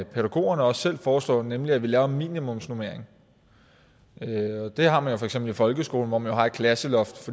pædagogerne også selv foreslår nemlig at vi laver en minimumsnormering det har man jo for eksempel i folkeskolen hvor man har et klasseloft